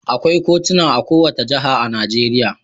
Akwai kotuna a kowace jiha a Najeriya.